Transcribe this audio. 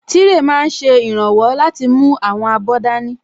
Tírè máa n ṣe ìrànwọ́ láti mú àwọn abọ́ dání